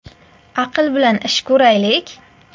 Aql bilan ish ko‘raylik.